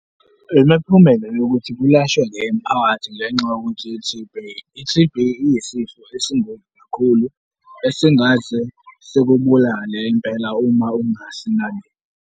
Imiphumela yokuthi kulashwe le mphakathi ngenxa yokuthi i-T_B, i-T_B iyisifo esiyingozi kakhulu, esingaze sikibulale impela uma ungasinakile.